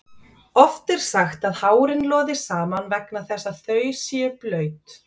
Oft er sagt að hárin loði saman vegna þess að þau séu blaut.